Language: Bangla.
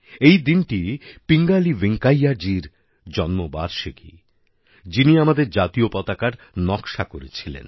এই দিনটি পিঙ্গালি ভেঙ্কাইয়া জির জন্মবার্ষিকী যিনি আমাদের জাতীয় পতাকার নকশা করেছিলেন